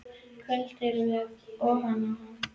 Í kvöld erum við ofan á.